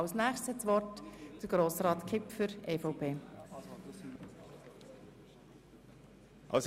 Als nächster Sprecher hat Grossrat Kipfer für die EVP-Fraktion das Wort.